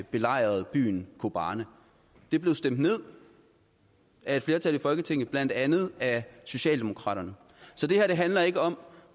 belejrede byen kobane det blev stemt ned af et flertal i folketinget blandt andet af socialdemokraterne så det her handler ikke om